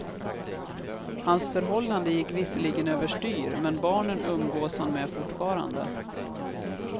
Hans förhållande gick visserligen överstyr, men barnen umgås han med fortfarande.